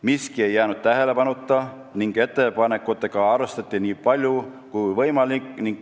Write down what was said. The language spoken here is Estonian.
Miski ei jäänud tähelepanuta ning ettepanekutega arvestati nii palju kui võimalik.